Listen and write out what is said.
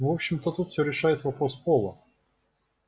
в общем-то тут всё решает вопрос пола